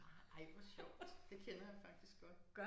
Ej hvor sjovt. Det kender jeg faktisk godt